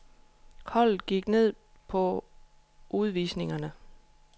Holdet gik ned på udvisningerne.